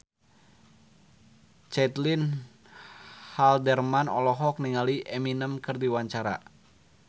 Caitlin Halderman olohok ningali Eminem keur diwawancara